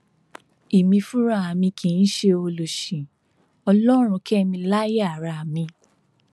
èmi fúnra mi kì í ṣe ọlọsí ọlọrun kẹ mi láàyè ara mi